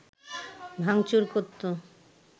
ভাঙচুর করতো